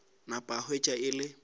napa a hwetša e le